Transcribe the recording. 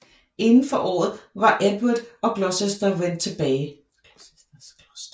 Inden for året var Edvard og Gloucester vendt tilbage